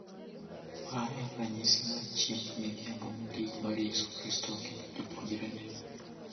Ma en ranyisi mar Chiemb Midhiambo Mogik mar Yesu Kristo gi jopuonjrene.